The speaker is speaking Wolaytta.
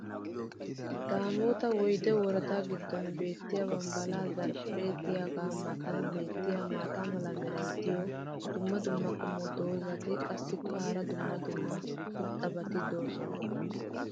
Daamoti woydde woradaa giddon beetiya bambbala zarphee diyaagaa matan beetiya maata mala meray diyo dumma dumma qommo dozzati qassikka hara dumma dumma irxxabati doosona.